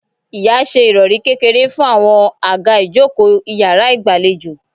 Ìya ṣe ìròrí kékeré fún àwọn àga ìjókòó iyàrá ìgbàlejò